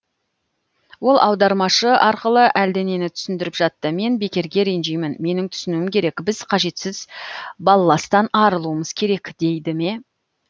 ол аудармашы арқылы әлденені түсіндіріп жатты мен бекерге ренжимін менің түсінуім керек біз қажетсіз балластан арылуымыз керек дей ме